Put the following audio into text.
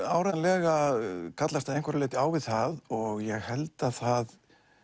áreiðanlega kallast að einhverju leyti á við það ég held að það